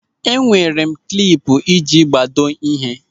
Enwere m klipu eji agbado ịhe.